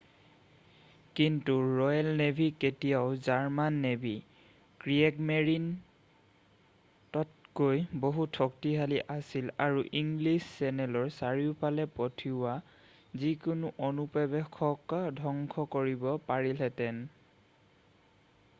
"কিন্তু Royal Navy তেতিয়াও German navy "Kriegsmarine" তকৈও বহুত শক্তিশালী আছিল আৰু ইংলিছ চেনেলৰ চাৰিওফালে পঠিওৱা যিকোনো অনুপ্ৰৱেশক ধ্বংস কৰিব পাৰিলেহেতে।""